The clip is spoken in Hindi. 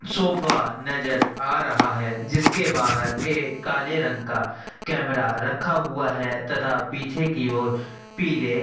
सोफा नज़र आ रहा है जिसके बाहर एक काले रंग का कैमरा रखा हुआ है तथा पीछे की और पिले --